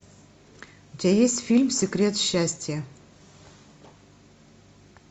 у тебя есть фильм секрет счастья